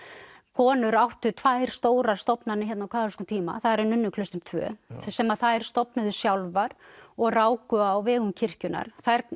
konur áttu tvær stórar stofnanir hérna á kaþólskum tíma það eru nunnuklaustrin tvö sem að þær stofnuðu sjálfar og ráku á vegum kirkjunnar